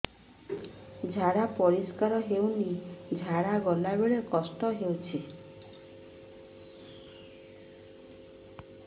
ଝାଡା ପରିସ୍କାର ହେଉନି ଝାଡ଼ା ଗଲା ବେଳେ କଷ୍ଟ ହେଉଚି